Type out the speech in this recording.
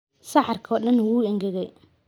Saxarka oo dhan wuu engegay.